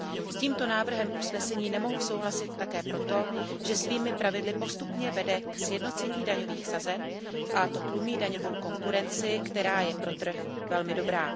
S tímto návrhem usnesení nemohu souhlasit také proto, že svými pravidly postupně vede ke sjednocení daňových sazeb, a to tlumí daňovou konkurenci, která je pro trh velmi dobrá.